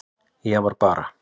Ég var bara.